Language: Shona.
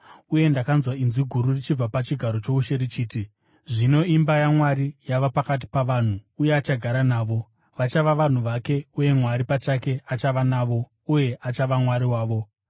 Uye ndakanzwa inzwi guru richibva pachigaro choushe richiti, “Zvino imba yaMwari yava pakati pavanhu, uye achagara navo. Vachava vanhu vake, uye Mwari pachake achava navo uye achava Mwari wavo.